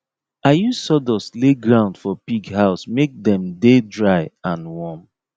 i use sawdust lay ground for pig house make dem dey dry and warm